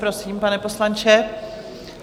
Prosím, pane poslanče.